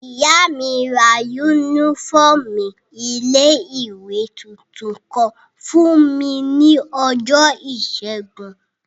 Ìyá mi ra yúnífọ́ọ̀mù ilé-ìwé tuntun kan fún mi ní ọjọ́ ìṣẹ́gun